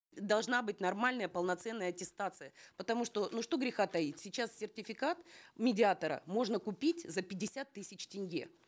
должна быть нормальная полноценная аттестация потому что ну что греха таить сейчас сертификат медиатора можно купить за пятьдесят тысяч тенге